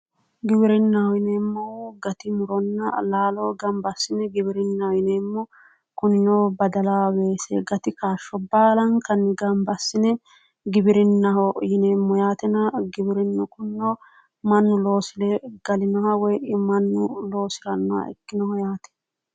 Giwirinnaho yineemmohu gati muronna laalo gamba assine giwirinnaho yineemmo. kunino badala weese gati kaashsho baalankanni gamba assine giwirinnaho yineemmo yaatena giwirinnu kunino mannu loosire galinoha woyi mannu loosirannoha ikkinoha yaate.